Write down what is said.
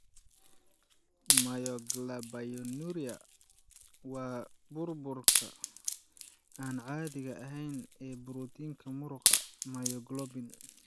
Myoglobinuria waa burburka aan caadiga ahayn ee borotiinka muruqa, myoglobin.